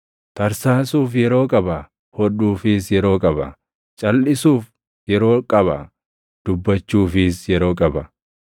tarsaasuuf yeroo qaba; hodhuufis yeroo qaba; calʼisuuf yeroo qaba; dubbachuufis yeroo qaba;